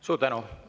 Suur tänu!